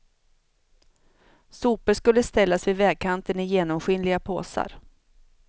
Sopor skulle ställas vid vägkanten i genomskinliga påsar.